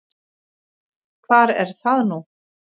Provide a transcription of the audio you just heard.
Hvar er það nú?